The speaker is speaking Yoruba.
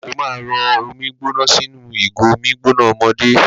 Ó ma rọ omi gbóná sínú ìgò omi gbóná ọmọdé.